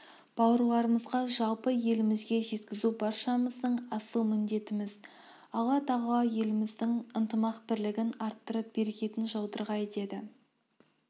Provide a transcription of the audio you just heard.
бауырларымызға жалпы елімізге жеткізу баршамыздың асыл міндетіміз алла тағала еліміздің ынтымақ-бірлігін арттырып берекетін жаудырғай деді